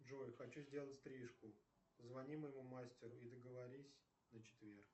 джой хочу сделать стрижку позвони моему мастеру и договорись на четверг